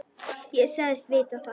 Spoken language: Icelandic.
Ég sagðist vita það.